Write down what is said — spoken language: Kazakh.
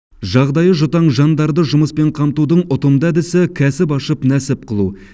жағдайы жұтаң жандарды жұмыспен қамтудың ұтымды әдісі кәсіп ашып нәсіп қылу